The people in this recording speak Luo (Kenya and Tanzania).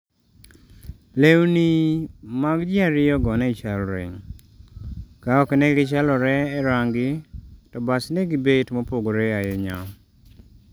lweni mag ji ariyo go ne chalre- ka ok negichalore e rangi to bas degibet mopogore ahinya